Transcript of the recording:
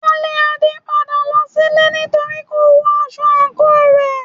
Wọn lé Ade padà lọ sílé nítorípé kò wọ aṣọ àǹkóò rẹ̀.